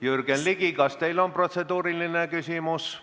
Jürgen Ligi, kas teil on protseduuriline küsimus?